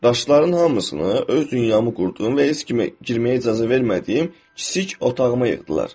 Daşların hamısını öz dünyamı qurduğum və heç kimə girməyə icazə vermədiyim kiçik otağıma yığdılar.